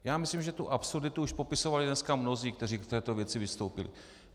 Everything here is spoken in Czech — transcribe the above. Já myslím, že tu absurditu už popisovali dneska mnozí, kteří k této věci vystoupili.